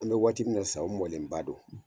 An bɛ waati min na sisa o mɔlenba do.